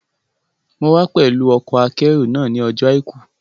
Mo wá pẹ̀lú ọkọ̀-akẹ́rù náà ní ọjọ́ àìkú